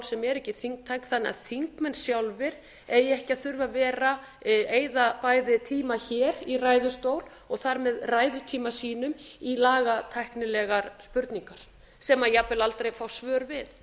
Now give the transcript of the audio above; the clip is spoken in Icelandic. sem eru ekki þingtæk þannig að þingmenn sjálfir eigi ekki að þurfa að vera að eyða bæði tíma hér í ræðustól og þar með ræðutíma sínum í lagatæknilegar spurningar sem jafnvel aldrei fást svör við